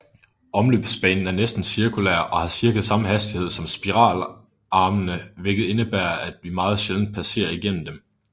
Omløbsbanen er næsten cirkulær og har cirka samme hastighed som spiralarmene hvilket indebærer at vi meget sjældent passerer igennem dem